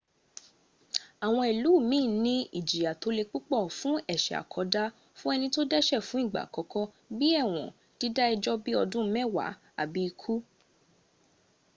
awon ilu kan ni ijiya to le pupo fun ese koda fun eni to dese fun igba akoko bi ewon dida ejo bi odun mewa abi iku